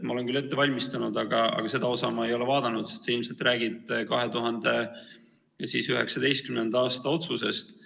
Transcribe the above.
Ma olen küll ette valmistanud, aga seda osa ma ei ole vaadanud, ilmselt sa räägid 2019. aasta otsusest.